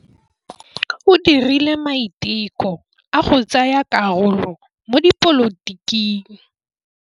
O dirile maitekô a go tsaya karolo mo dipolotiking.